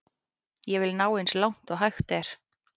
Ég vil ná eins langt og hægt er.